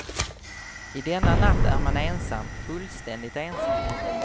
I denna natt är man ensam, fullständigt ensam.